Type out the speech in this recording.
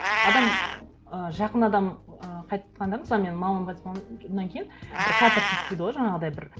адам ы жақын адам ы қайтқанда мысалы менің мамам қайтыс болғаннан кейін бір катарсис дейді ғой жаңағыдай бір